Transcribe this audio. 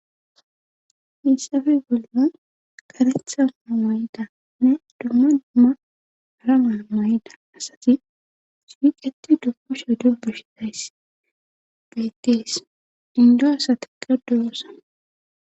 Hissafe bolla karethaa wayida nne dumma dumma arama may'yda asazi sipiqeti dummo sha du beshidayss bettes dindo asati qa duwosa.